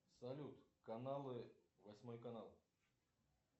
салют каналы восьмой канал